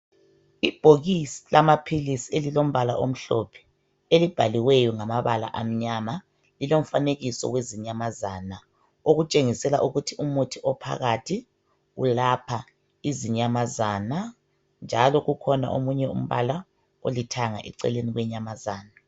Ibhokisi lamaphilisi elilombala omhlophe elibhaliweyo ngamabala amnyama lilomfanekiso wezinyamazana okutshengisela ukuthi umuthi ophakathi welapha izinyamazana njalo kukhona omunye umbala olithanga eceleni kwenyamazana.